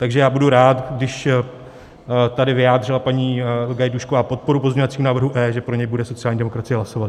Takže já budu rád, když tady vyjádřila paní Gajdůšková podporu pozměňovacímu návrhu E, že pro něj bude sociální demokracie hlasovat.